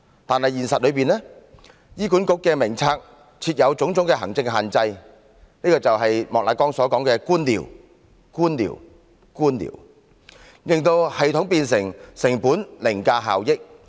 可惜，現實中，醫管局的藥物名冊設有種種行政限制——這便是莫乃光議員所說的官僚——令系統變成成本凌駕效益。